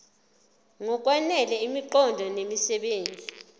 ngokwanele imiqondo nemisebenzi